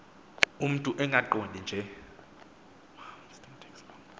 umntu engaqondi nje